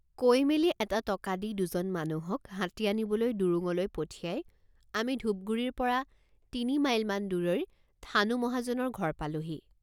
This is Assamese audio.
কৈ মেলি এটা টকা দি দুজন মানুহক হাতী আনিবলৈ ডুৰুঙলৈ পঠিয়াই আমি ঢোপগুৰিৰ পৰ৷ তিনি মাইলমান দূৰৈৰ থাণু মহাজনৰ ঘৰ পালোহি।